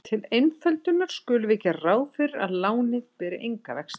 Til einföldunar skulum við gera ráð fyrir að lánið beri enga vexti.